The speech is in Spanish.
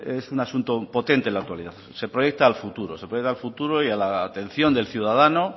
es un asunto potente en la actualidad se proyecta al futuro se proyecta al futuro y a la atención del ciudadano